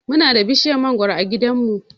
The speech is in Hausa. Muna da bishiyar mangoro a gidanmu.